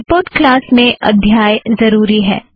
report class में अध्याय ज़रुरी है